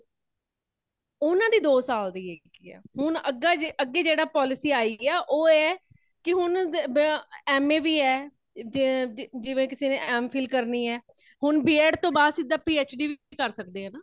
ਉਨ੍ਹਾਂ ਦੀ ਦੋ ਸਾਲ ਦੀ ਹੇਗੀ ਹੈ |ਹੁਣ ਅੱਗੇ ਜਿਹੜੀ polices ਆਇ ਹੈ ,ਉਹ ਹੈ ਕੇ ਹੁਣ ਆ M.A ਵੀ ਹੈ, ਜਿਵੇ ਫਿਰ M.FIL ਕਰਨੀ ਹੈ ਹੋਣ B.ED ਤੋਂ ਬਾਦ ਸਿੱਧਾ P.HD ਕਰ ਸਕਦੇ ਹੈ |ਨਾ